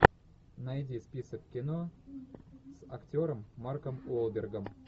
найди список кино с актером марком уолбергом